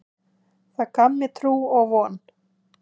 Það gaf mér trú og von.